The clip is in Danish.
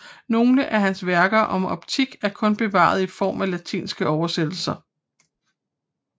Nogle af hans værker om optik er kun bevaret i form af latinske oversættelser